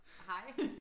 Hej